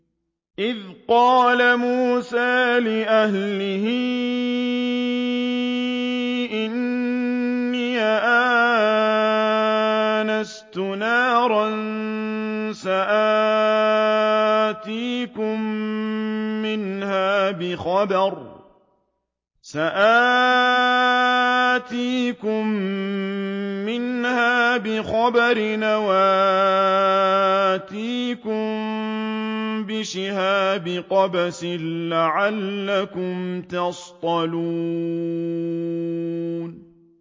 إِذْ قَالَ مُوسَىٰ لِأَهْلِهِ إِنِّي آنَسْتُ نَارًا سَآتِيكُم مِّنْهَا بِخَبَرٍ أَوْ آتِيكُم بِشِهَابٍ قَبَسٍ لَّعَلَّكُمْ تَصْطَلُونَ